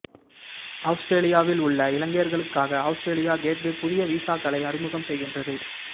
அவுஸ்திரேலியாவில் உள்ள இலங்கையர்களுக்காக Australia gateway புதிய வீசாக்களை அறிமுகம் செய்கின்றது